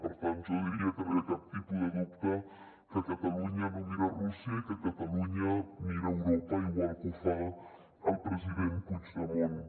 per tant jo diria que no hi ha cap tipus de dubte que catalunya no mira rússia i que catalunya mira europa igual que ho fa el president puigdemont